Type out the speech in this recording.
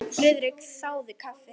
Friðrik þáði kaffi.